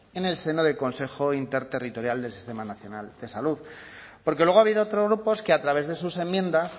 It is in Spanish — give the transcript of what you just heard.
en el seno del consejo interterritorial del sistema nacional de salud porque luego ha habido otros grupos que a través de sus enmiendas